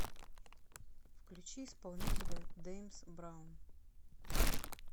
включи исполнителя дэймс браун